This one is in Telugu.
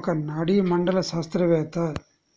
ఒక నాడీమండల శాస్త్రవేత్త